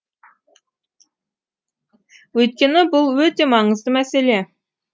өйткені бұл өте маңызды мәселе